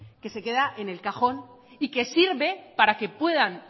que se queda en el cajón y que sirve para que puedan